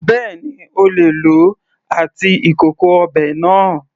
Bẹ́ẹ̀ni, O lè lòó àti ìkòkò ọbẹ̀ náà.